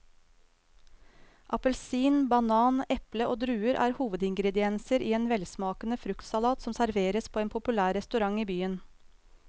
Appelsin, banan, eple og druer er hovedingredienser i en velsmakende fruktsalat som serveres på en populær restaurant i byen.